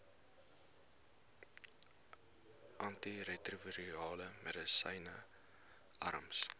antiretrovirale medisyne arms